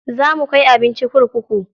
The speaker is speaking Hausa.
Za mu kai abinci kurkuku.